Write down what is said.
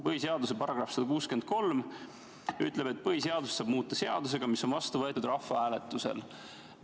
Põhiseaduse § 163 ütleb, et põhiseadust saab muuta seadusega, mis on vastu võetud rahvahääletusel.